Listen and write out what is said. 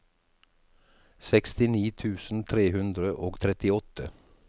sekstini tusen tre hundre og trettiåtte